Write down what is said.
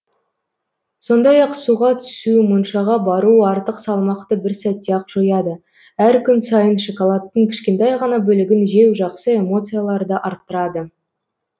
сондай ақ суға түсу моншаға бару артық салмақты бір сәтте ақ жояды әр күн сайын шоколадтың кішкентай ғана бөлігін жеу жақсы эмоцияларды арттырады